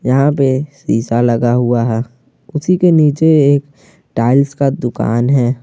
यहां पे शीशा लगा हुआ है उसी के नीचे एक टाइल्स का दुकान है।